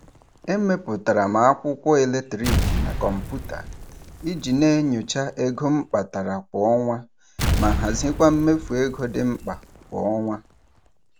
E mepụtara m akwụkwọ eletrik na kọmputa iji na-enyocha ego m kpatara kwa ọnwa ma hazikwa mmefu ego dị mkpa kwa ọnwa.